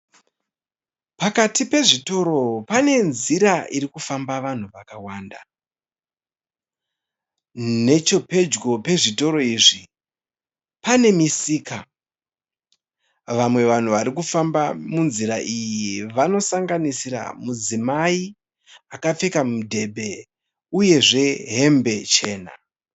Pakati pezvitoro pane nzira irikufamba vanhu vakawanda. Nechepedyo pezvitoro izvi pane misika. Vamwe vanhu varikufamba munzira iyi vanosanganisira mudzimai akapfeka mudhebhe uyezve hembe chena.